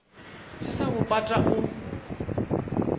se sa bo pata o